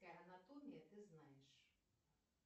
анатомия ты знаешь